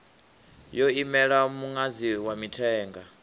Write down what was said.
yo imela muṅadzi wa mithenga